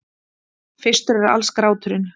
Fyrstur alls er gráturinn.